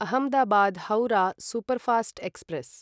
Ahmedabad Howrah superfast express